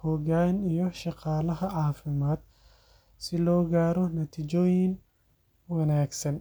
hoggaan iyo shaqaalaha caafimaad si loo gaaro natiijooyin wanaagsan.